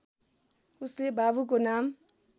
उसले बाबुको नाम